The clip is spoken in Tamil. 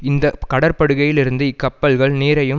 இந்த கடற்படுகையில் இருந்து இக்கப்பல்கள் நீரையும்